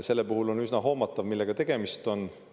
Selle puhul on üsna hoomatav, millega tegemist on.